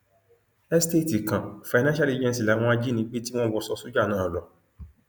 esteeti kan financial agency làwọn ajinígbé tí wọn wọṣọ sójà náà lò